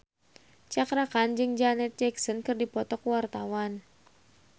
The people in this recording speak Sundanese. Cakra Khan jeung Janet Jackson keur dipoto ku wartawan